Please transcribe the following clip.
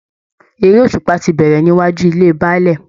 Eré òṣùpá ti bẹ̀rẹ̀ níwájú ilé Baálẹ̀